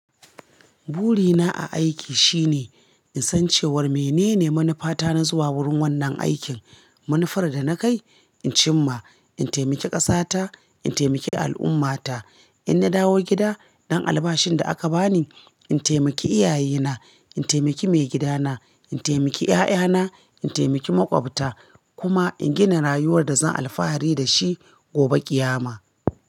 Burina a aiki shine in san cewar menene manufata na zuwa wurin wannan aikin. Manufar da na kai in cimma, in taimaki ƙasata, in taimaki al'ummata. In na dawo gida, ɗan albashin da aka bani in taimaki iyayena, in taimaki mai gidana, in taimaki 'ya'yana, in taimaki maƙwabta kuma in gina rayuwar da zan alfahari da shi gobe ƙiyama.